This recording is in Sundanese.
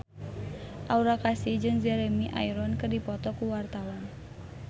Aura Kasih jeung Jeremy Irons keur dipoto ku wartawan